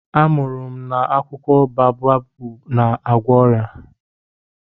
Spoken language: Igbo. Anụrụ m na akwụkwọ baobabu na-agwọ ọrịa.